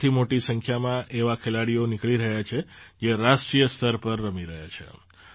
ત્યાંથી મોટી સંખ્યામાં એવા ખેલાડીઓ નીકળી રહ્યા છે જે રાષ્ટ્રીય સ્તર પર રમી રહ્યા છે